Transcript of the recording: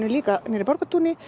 í Borgartúni